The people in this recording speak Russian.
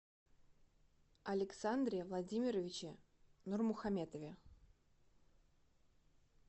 александре владимировиче нурмухаметове